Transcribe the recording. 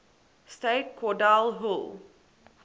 state cordell hull